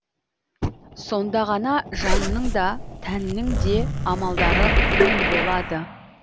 сонда ғана жанның да тәннің де амалдары оң болады